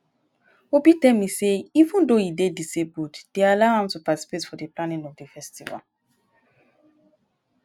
obi tell me say even though he dey disabled dey allow am to participate in the planning of the festival